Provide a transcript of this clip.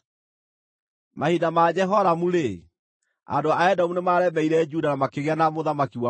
Mahinda ma Jehoramu-rĩ, andũ a Edomu nĩmaremeire Juda na makĩgĩa na mũthamaki wao ene.